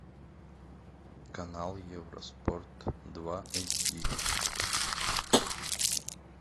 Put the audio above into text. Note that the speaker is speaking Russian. канал евроспорт два эйч ди